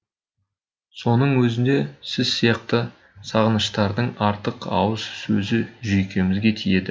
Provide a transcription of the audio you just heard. соның өзінде сіз сияқты сынағыштардың артық ауыс сөзі жүйкемізге тиеді